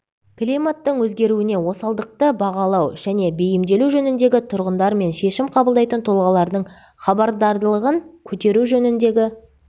климаттың өзгеруіне осалдықты бағалау және бейімделу жөніндегі тұрғындар мен шешім қабылдайтын тұлғалардың хабардарлығын көтеру жөніндегі